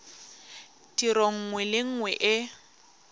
tiro nngwe le nngwe e